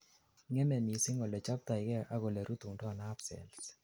ngeme missing ole chobtoigei ak olerutundoi nerve cells